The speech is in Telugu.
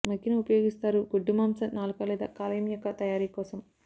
మగ్గిన ఉపయోగిస్తారు గొడ్డు మాంసం నాలుక లేదా కాలేయం యొక్క తయారీ కోసం